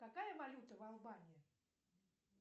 какая валюта в албании